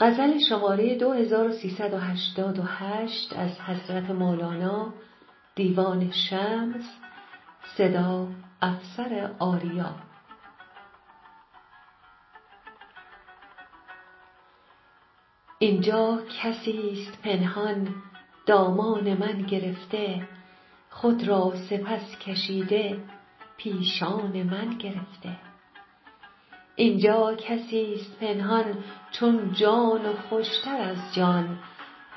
این جا کسی ست پنهان دامان من گرفته خود را سپس کشیده پیشان من گرفته این جا کسی ست پنهان چون جان و خوش تر از جان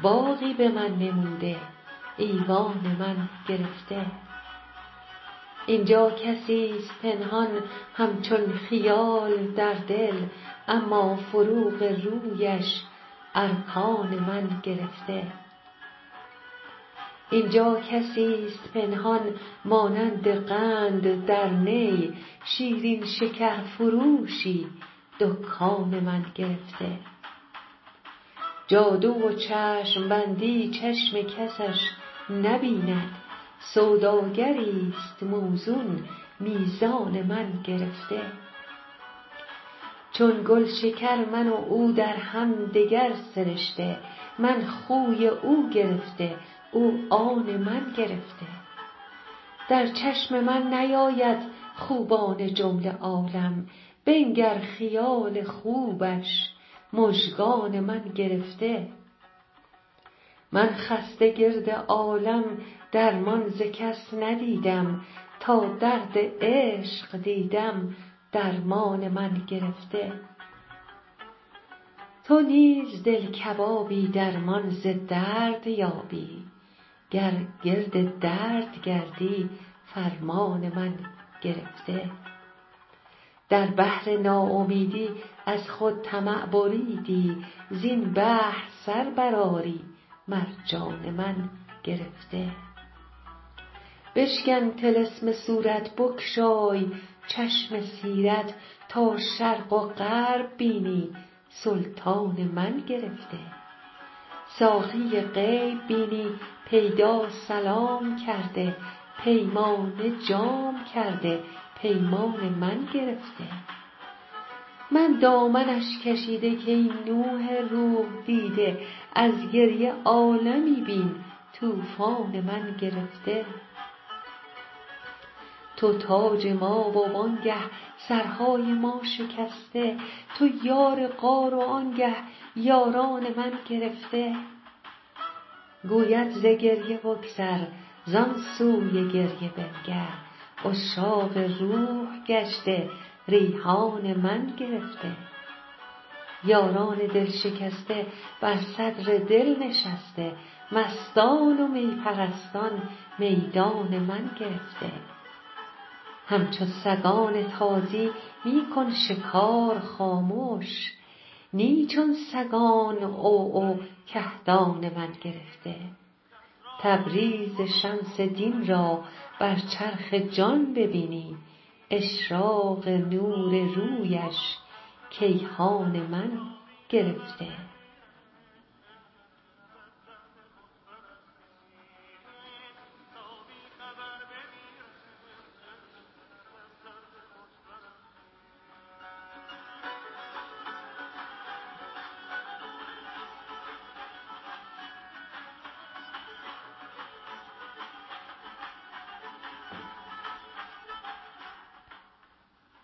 باغی به من نموده ایوان من گرفته این جا کسی ست پنهان همچون خیال در دل اما فروغ رویش ارکان من گرفته این جا کسی ست پنهان مانند قند در نی شیرین شکرفروشی دکان من گرفته جادو و چشم بندی چشم کسش نبیند سوداگری ست موزون میزان من گرفته چون گل شکر من و او در هم دگر سرشته من خوی او گرفته او آن من گرفته در چشم من نیاید خوبان جمله عالم بنگر خیال خوبش مژگان من گرفته من خسته گرد عالم درمان ز کس ندیدم تا درد عشق دیدم درمان من گرفته تو نیز دل کبابی درمان ز درد یابی گر گرد درد گردی فرمان من گرفته در بحر ناامیدی از خود طمع بریدی زین بحر سر برآری مرجان من گرفته بشکن طلسم صورت بگشای چشم سیرت تا شرق و غرب بینی سلطان من گرفته ساقی غیب بینی پیدا سلام کرده پیمانه جام کرده پیمان من گرفته من دامنش کشیده کای نوح روح دیده از گریه عالمی بین طوفان من گرفته تو تاج ما و آنگه سرهای ما شکسته تو یار غار و آنگه یاران من گرفته گوید ز گریه بگذر زان سوی گریه بنگر عشاق روح گشته ریحان من گرفته یاران دل شکسته بر صدر دل نشسته مستان و می پرستان میدان من گرفته همچو سگان تازی می کن شکار خامش نی چون سگان عوعو کهدان من گرفته تبریز شمس دین را بر چرخ جان ببینی اشراق نور رویش کیهان من گرفته